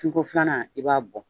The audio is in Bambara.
Fin ko filanan i b'a bɔ